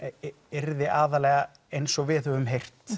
yrði aðallega eins og við höfum